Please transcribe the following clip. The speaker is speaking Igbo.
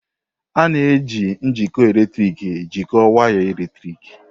A na-eji njikọ eletrik jikọọ waya eletrik.